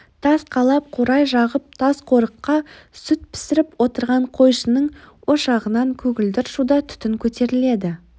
тас қалап қурай жағып тасқорыққа сүт пісіріп отырған қойшының ошағынан көгілдір шуда түтін көтеріледі